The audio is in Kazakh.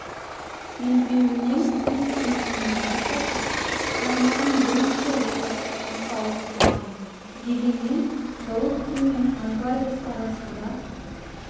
белбеуінен өз еркімен бас тартып салмағын бірінші орта салмаққа ауыстырған дегенмен головкин мен альварес арасында